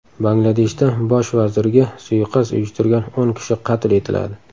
Bangladeshda bosh vazirga suiqasd uyushtirgan o‘n kishi qatl etiladi.